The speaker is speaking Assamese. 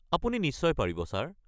আপুনি নিশ্চয় পাৰিব, ছাৰ।